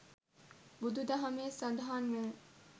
බුදු දහමේ සඳහන් වන